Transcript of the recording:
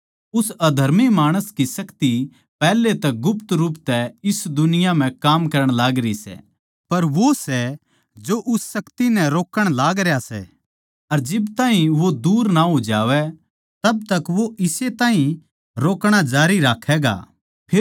उस अधर्मी माणस की शक्ति पैहले तै गुप्त रूप तै इस दुनिया म्ह काम करण लागरी सै पर वो सै जो उस शक्ति नै रोक्कण लागरया सै अर जिब ताहीं वो दूर ना हो जावै तब तक वो इस ताहीं रोकणा जारी राक्खैगा